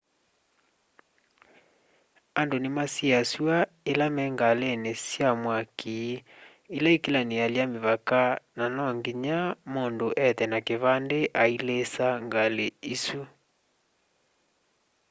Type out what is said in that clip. andũ nimasiasywa ila me ngalĩn sya mwakĩ ila sikilanialya mĩvaka na no nginya mundu ethe na kĩvandĩ ailisa ngalĩ isũ